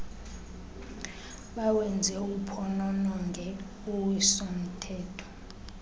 bawenze uphonononge uwisomthetho